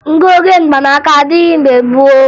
Ngụoge mgbanaaka adịghị mgbe gboo